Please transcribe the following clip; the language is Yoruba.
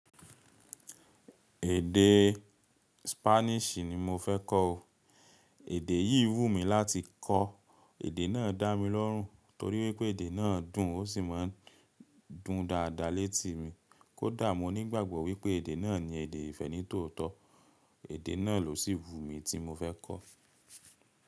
Èdè Spanish ni mo fẹ́ kọ́ o. Èdè yìí wù mí láti kọ́, èdè náà dá mi lórùn torí wípé èdè náà dùn ó sì máa ń dùn dáadáa létí mi. Kódà mo nígbàgbọ́ wípé èdè náà ni èdè ìfẹ́ ní tòótọ́, èdè náà ló sì wù mí tí mo fẹ́ kọ́.